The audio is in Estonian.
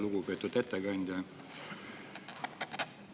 Lugupeetud ettekandja!